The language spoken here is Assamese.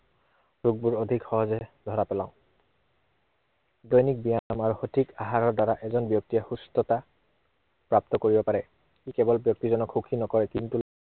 দুখবোৰ অধিক সহজে ধৰা পেলাও। দৈনিক ব্য়ায়াম আৰু সঠিক আহাৰৰ দ্বাৰা এজন ব্য়ক্তিয়ে সুস্থতা প্ৰাপ্ত কৰিব পাৰে। ই কেৱল ব্য়ক্তিজনক সুখী নকৰে, কিন্তু